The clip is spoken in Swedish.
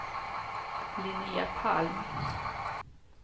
Linnéa Palm